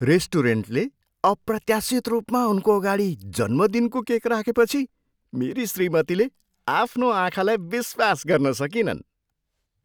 रेस्टुरेन्टले अप्रत्याशित रूपमा उनको अगाडि जन्मदिनको केक राखेपछि मेरी श्रीमतीले आफ्नो आँखालाई विश्वास गर्न सकिनन्।